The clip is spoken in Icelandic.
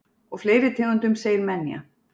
Og fleiri tegundum segir Menja.